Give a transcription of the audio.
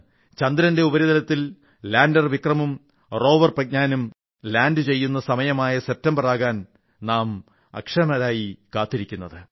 ചന്ദ്രന്റെ ഉപരിതലത്തിൽ ലാന്റർ വിക്രമും റോവർ പ്രജ്ഞാനും ലാൻഡ് ചെയ്യുന്ന സമയമായ സെപ്റ്റംബറാകാൻ നാം അക്ഷമരായി കാത്തിരിക്കുകയാണ്